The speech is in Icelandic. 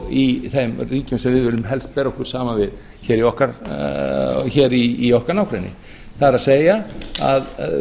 í þeim ríkjum sem við viljum helst bera okkur saman við hér í okkar nágrenni það er að